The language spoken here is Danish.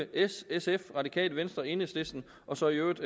s sf radikale venstre enhedslisten og så i øvrigt